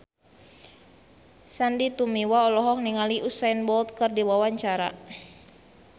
Sandy Tumiwa olohok ningali Usain Bolt keur diwawancara